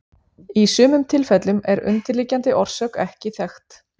Í sumum tilfellum er undirliggjandi orsök ekki þekkt.